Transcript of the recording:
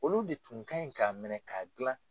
Olu de tun kaɲi ka minɛ ka jilan